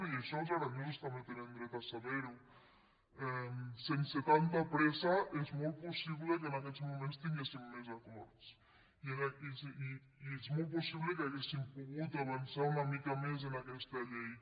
i això els aranesos també tenen dret a saber·ho sense tanta pressa és molt possible que en aquests mo·ments tinguéssim més acords i és molt possible que haguéssim pogut avançar una mica més en aquesta llei